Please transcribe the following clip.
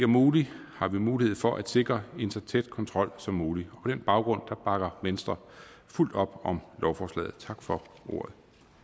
muligt har vi mulighed for at sikre en så tæt kontrol som muligt på den baggrund bakker venstre fuldt op om lovforslaget tak for ordet